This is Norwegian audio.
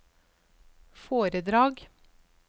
foredrag